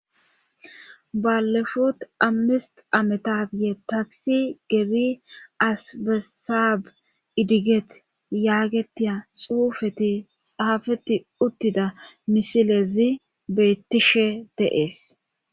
Balefut ammist ametafye taisi gebi asbesaab idiget yaagetiya xuufeti xaafeti uttida misilezi beyttishe deees.